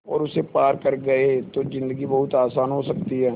और उसे पार कर गए तो ज़िन्दगी बहुत आसान हो सकती है